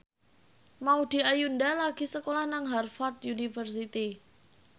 Maudy Ayunda lagi sekolah nang Harvard university